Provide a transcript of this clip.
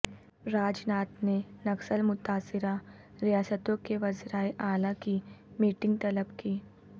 راج ناتھ نے نکسل متاثرہ ریاستوں کے وزرائے اعلی کی میٹنگ طلب کی